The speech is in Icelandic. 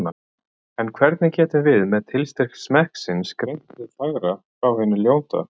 En hvernig getum við með tilstyrk smekksins greint hið fagra frá hinu ljóta?